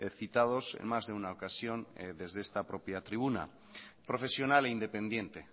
citados en más de una ocasión desde esta propia tribuna profesional e independiente